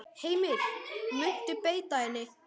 Heimir: Muntu beita henni?